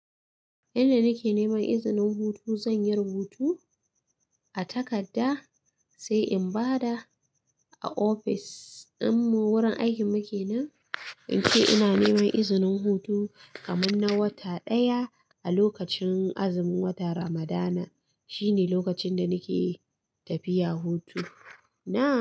Yanda nake neman izinin hutu, zan yi rubutu a takarda sai in ba da a ofis. Din mu wurin aikin mu kenan ince ina neman izinin hutu kaman na wata daya a lokacin azimin wata Ramadana shine lokacin da nake tafiya hutu na.